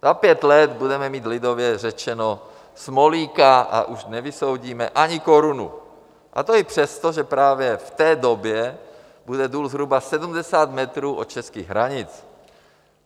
Za pět let budeme mít lidově řečeno smolíka a už nevysoudíme ani korunu, a to i přesto, že právě v té době bude důl zhruba 70 metrů od českých hranic.